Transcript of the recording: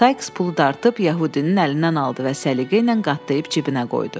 Saiks pulu dartıb yəhudinin əlindən aldı və səliqə ilə qatlayıb cibinə qoydu.